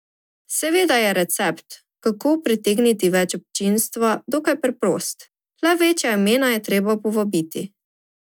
Seveda je recept, kako pritegniti več občinstva, dokaj preprost, le večja imena je treba povabiti.